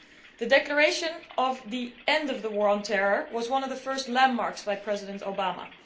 The declaration of the end of the war on terror was one of the first landmarks by President Obama.